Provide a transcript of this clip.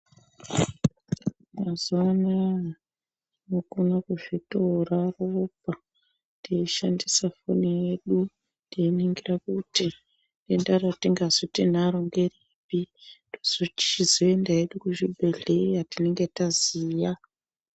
Mazuwa anaa tokona zvitora ropa teishandisa foni yedu teiningira kuti denda retingazi tinaro ngeripi tozo chizoende kuchibhedhleya tinenga taziya.